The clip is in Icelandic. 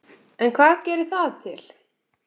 En hvað gerir það til